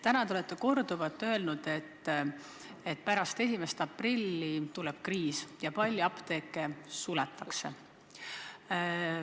Täna te olete korduvalt öelnud, et pärast 1. aprilli tuleb kriis ja palju apteeke suletakse.